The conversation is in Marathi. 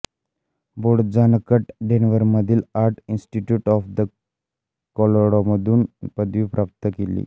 बोडजानाकने डेन्व्हरमधील आर्ट इन्स्टिट्यूट ऑफ कॉलोराडोमधून पदवी प्राप्त केली